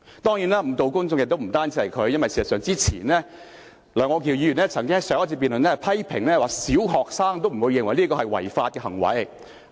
當然，誤導公眾的人不僅是他一個，因為在此以前，楊岳橋議員曾經在上一次辯論時批評說小學生也不會認為這是違法的行為。